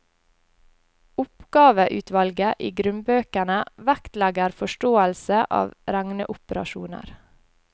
Oppgaveutvalget i grunnbøkene vektlegger forståelse av regneoperasjoner.